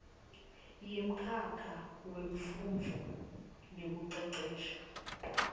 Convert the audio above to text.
yemkhakha wemfundvo nekucecesha